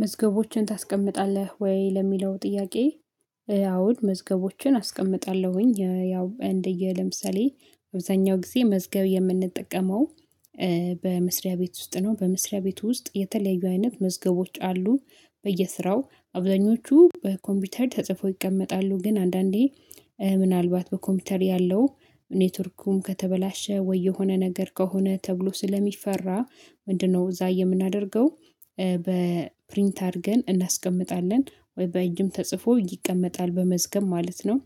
መዝገቦችን ታስቀምጣለህ ወይ ለሚለው ጥያቄ? እኔ ያው መዝገቦችን አስቀምጣለሁኝ ያው እንደየለም ሰሌ አብዛኛው ጊዜ መዝገብ የምንጠቀመው። በመስሪያ ቤት ውስጥ ነው በመስሪያ ቤቱ ውስጥ የተለያዩ አይነት መዝገቦች አሉ። በየስራው አብዛኞቹ በኮምፒውተር ተጽፎ ይቀመጣሉ ግን አንዳንዴ ምናልባት በኮምፒውተር ያለው ኔትወርኩም ከተበላሸ ወይ የሆነ ነገር ከሆነ ተብሎ ስለሚፈራ ምንድነው እዛ የምናደርገው በፕሪንት አድርገን እናስቀምጣለን ወይ በእጅም ተጽፎ ይቀመጣል በመዝገብ ማለት ነው።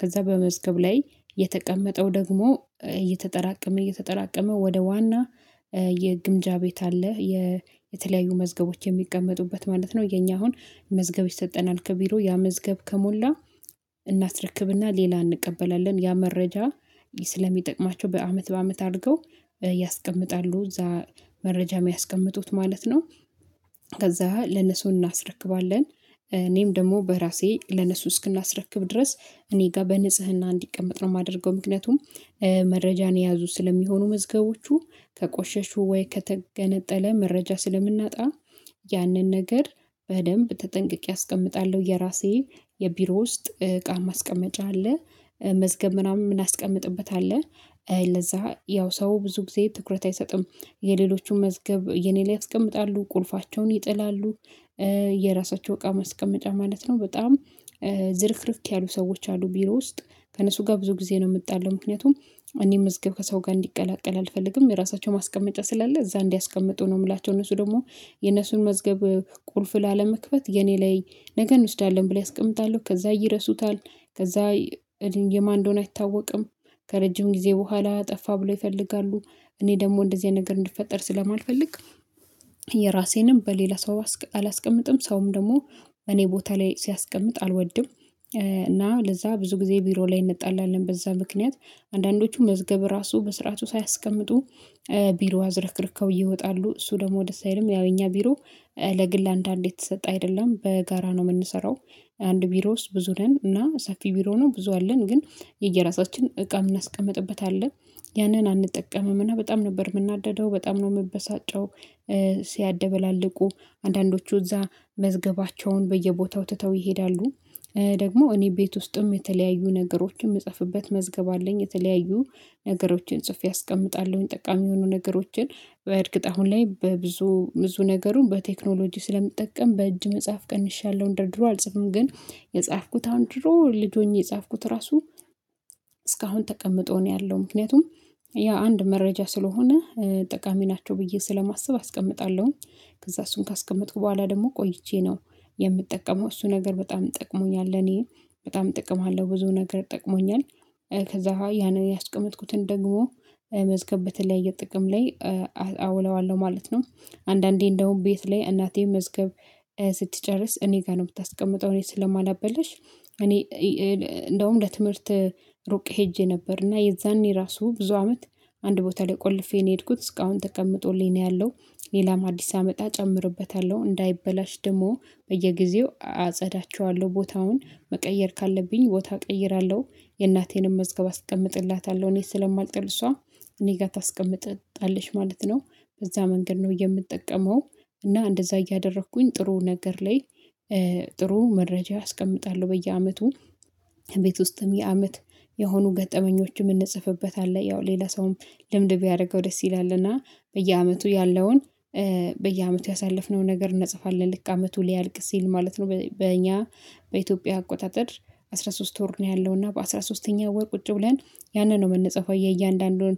ከዛ በመዝገብ ላይ የተቀመጠው ደግሞ እየተጠራቀመ እየተጠራቀመ ወደ ዋና የግምጃ ቤት አለ። የተለያዩ መዝገቦች የሚቀመጡበት ማለት ነው። የኛ አሁን መዝገብ ይሰጠናል ከቢሮ ያ መዝገብ ከሞላ እናስረክብና ሌላ እንቀበላለን ያ መረጃ ስለሚጠቅማቸው በአመት በአመት አድርገው ያስቀምጣሉ እዛ መረጃ የሚያስቀምጡት ማለት ነው። ከዛ ለነሱ እናስረክባለን እኔም ደግሞ በራሴ ለነሱ እስክናስረክብ ድረስ እኔ ጋር በንጽህና እንዲቀመጥ ነው የማደርገው ምክንያቱም። መረጃን የያዙ ስለሚሆኑ መዝገቦቹ ከቆሸሹ ወይ ከተገነጠለ መረጃ ስለምናጣ ያንን ነገር በደንብ ተጠንቅቄ አስቀምጣለሁ። የራሴ የቢሮ ውስጥ እቃ ማስቀመጫ አለ መዝገብ ምናምን እናስቀምጥበታለን። ለዛ ያው ሰው ብዙ ጊዜ ትኩረት አይሰጥም የሌሎቹን መዝገብ የኔ ላይ ያስቀምጣሉ ቁልፋቸውን ይጥላሉ። የራሳቸው እቃ ማስቀመጫ ማለት ነው በጣም ዝርክርክ ያሉ ሰዎች አሉ ቢሮ ውስጥ ከእነሱ ጋር ብዙ ጊዜ ነው የመጣለው። ምክንያቱም እኔ መዝገብ ከሰው ጋር እንዲቀላቀል አልፈልግም የራሳቸው ማስቀመጫ ስላለ እዛ እንዲያስቀምጡ ነው የምላቸው እነሱ ደግሞ የነሱን መዝገብ ቁልፍ ላለመክፈት የኔ ላይ ነገ እንወስዳለን ብለው ያስቀምጣሉ ከዛ ይረሱታል። ከዛ የማንዶን አይታወቅም ከረጅም ጊዜ በኋላ ጠፋ ብለው ይፈልጋሉ። እኔ ደግሞ እንደዚህ ነገር እንድፈጠር ስለማልፈልግ የራሴንም በሌላ ሰው አላስቀምጥም ሰውም ደግሞ እኔ ቦታ ላይ ሲያስቀምጥ አልወድም። እና ለዛ ብዙ ጊዜ ቢሮ ላይ እንጣላለን በዛ ምክንያት አንዳንዶቹ መዝገብ ራሱ በስርዓቱ ሳያስቀምጡ ቢሮ አዝረክርከው እየወጣሉ እሱ ደግሞ ደስ አይልም ያው የኛ ቢሮ ለግል አንዳንዴ የተሰጠ አይደለም በጋራ ነው የምንሰራው። አንድ ቢሮ ውስጥ ብዙ ነን እና ሰፊ ቢሮ ነው ብዙ አለን ግን የየራሳችን እቃ እናስቀምጥበት አለ ያንን አንጠቀምምና እና በጣም ነበር የምናደደው በጣም ነው የምበሳጨው። ሲያደባልቁ አንዳንዶቹ እዛ መዝገባቸውን በየቦታው ትተው ይሄዳሉ። ደግሞ እኔ ቤት ውስጥም የተለያዩ ነገሮችን የምጽፍበት መዝገብ አለኝ የተለያዩ ነገሮችን ጽፌ አስቀምጣለሁኝ ጠቃሚ የሆኑ ነገሮችን በእርግጥ አሁን ላይ በብዙ ብዙ ነገሩን በቴክኖሎጂ ስለምጠቀም በእጅ መጽሐፍ ቀንሻለሁ እንደበድሮ አልጽፍም ግን የጻፍኩት አሁን ድሮ ልጅ ሆኜ የጻፍኩት ራሱ እስካሁን ተቀምጦ ነው ያለው። ምክንያቱም ያ አንድ መረጃ ስለሆነ ጠቃሚ ናቸው ብዬ ስለማስብ አስቀምጣለሁ ከዛ እሱን ካስቀመጥኩ በኋላ ደግሞ ቆይቼ ነው የምጠቀመው እሱ ነገር በጣም ጠቅሞኛል እኔ በጣም ጠቅም አለው ብዙ ነገር ጠቅሞኛል። ከዛ ያንን ያስቀመጥኩትን ደግሞ መዝገብ በተለያየ ጥቅም ላይ አውለዋለሁ ማለት ነው። አንዳንዴ እንደውም ቤት ላይ እናቴ መዝገብ ስትጨርስ እኔ ጋር ነው የምታስቀምጠው እኔ ስለማላበላሽ እኔ እንደውም ለትምህርት ሩቅ ሄጄ ነበርና የዛኔ ራሱ ብዙ አመት አንድ ቦታ ላይ ቆልፌ ነው የሄድኩት እስካሁን ተቀምጦልኝ ነው ያለው። ሌላም አዲስ አመታ ጨምሮበታለሁ እንዳይበላሽ ደግሞ በየጊዜው አጸዳቸዋለሁ ቦታውን መቀየር ካለብኝ ቦታ እቀይራለሁ የእናቴንም መዝገብ አስቀምጥላታለሁ እኔ ስለማልጠል እሷ እኔ ጋር ታስቀምጥጣለሽ ማለት ነው። በዛ መንገድ ነው የምጠቀመው እና እንደዛ እያደረኩኝ ጥሩ ነገር ላይ ጥሩ መረጃ አስቀምጣለሁ በየአመቱ። ቤት ውስጥም የአመት የሆኑ ገጠመኞችም ምንጽፍበታለን ያው ሌላ ሰውም ልምድ ቢያደርገው ደስ ይላልና በየአመቱ ያለውን በየአመቱ ያሳለፍነውን ነገር እንጽፋለን። ልክ አመቱ ሊያልቅ ሲል ማለት ነው በእኛ በኢትዮጵያ አቆጣጠር አስራ ሶስት ወር ነው ያለው እና በአስራ ሶስተኛው ወር ቁጭ ብለን ያንን ነው የምንጽፈው። የእያንዳንዱን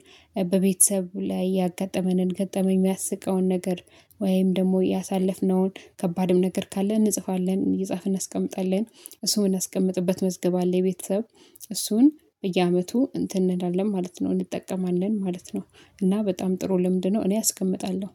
በቤተሰብ ላይ ያጋጠመንን ገጠመን የሚያስቀውን ነገር ወይም ደግሞ ያሳለፍነውን ከባድም ነገር ካለ እንጽፋለን እየጻፍን እናስቀምጣለን እሱን የምናስቀምጥበት መዝገብ አለ የቤተሰብ እሱን በየአመቱ እንትን እንላለን ማለት ነው እንጠቀማለን ማለት ነው። እና በጣም ጥሩ ልምድ ነው እኔ አስቀምጣለሁ